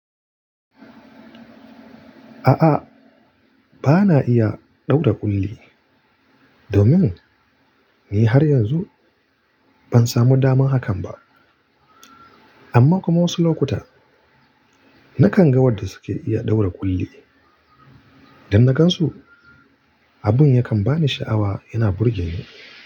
A'a, bana iya ɗaura ƙulli, domin ni har yanzu ban samu damar hakan ba. Amma kuma wasu lokuta na kanga wadanda suke iya ɗaura ƙulli, idan na gan su, abin yakan ba ni sha'awa yana burge ni.